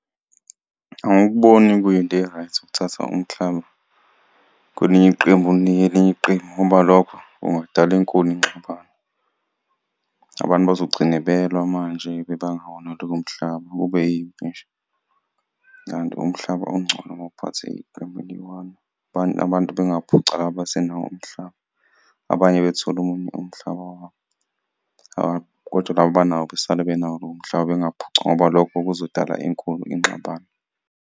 Angikuboni kuyinto e-right ukuthatha umhlaba kwelinye iqembu uwunike elinye iqembu ngoba lokho kungadala enkulu ingxabano, abantu bazogcine belwa manje bebanga wona lowo mhlaba kube yimpi nje, kanti umhlaba ungcono mawuphathe iqembu eliyi-one. Abantu bengaphucwa abasenawo umhlaba, abanye bethole umhlaba wabo , kodwa laba abanawo besale benawo lowo mhlaba bengaphucwa ngoba lokho kuzodala enkulu ingxabano.